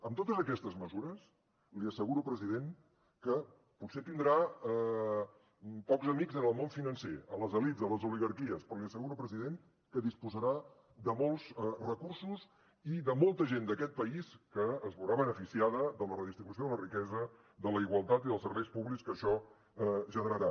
amb totes aquestes mesures li asseguro president que potser tindrà poc amics en el món financer a les elits a les oligarquies però li asseguro president que disposarà de molts recursos i de molta gent d’aquest país que es veurà beneficiada de la redistribució de la riquesa de la igualtat i dels serveis públics que això generarà